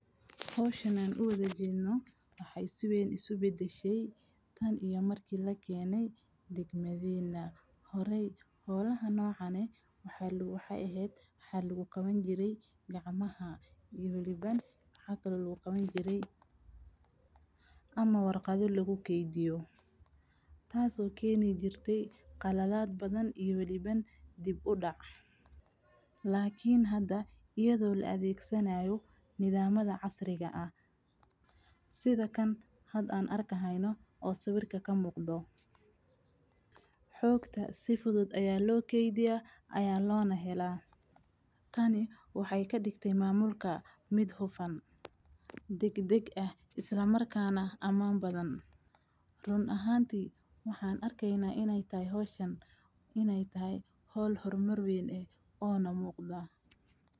Hawshan u wada jiino waxay si weyn u subida shey tan iyo markii la keenay degmadayna. Horay, hoolaha noocanay waxaa lagu waxa ahayd xalligu kaban jiray gacmaha iyo weliba xagga laguu kaban jiray ama warqado lagu keydiyo. Taaso keeni jirtay qalalaad badan iyo weliba dib u dhac. Laakiin hadda iyadoo la adeegsanayo nidaamada casriga ah. Sida kan had aan arkahayno oo sawirka ka muuqdo. Xogta si fudud ayaa loo keydiya ayaana loona helaan. Tani waxay ka dhigtay maamulka Midhufan degdeg ah isla markaan ah ammaan badan. Run ahaantii waxaan arkayna inay tahay hawshan inay tahay hol hor marweyn eh oona muuqda.